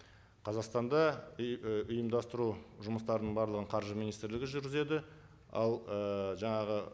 қазақстанда ұйымдастыру жұмыстарының барлығын қаржы министрлігі жүргізеді ал ыыы жаңағы